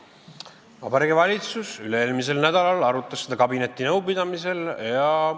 Vabariigi Valitsus üle-eelmisel nädalal arutas seda kabinetinõupidamisel.